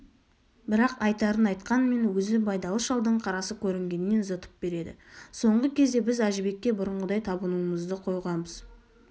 бірақ айтарын айтқанмен өзі байдалы шалдың қарасы көрінгеннен зытып береді соңғы кезде біз әжібекке бұрынғыдай табынуымызды қойғанбыз